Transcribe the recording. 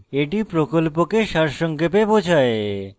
এটি প্রকল্পকে সারসংক্ষেপে বোঝায়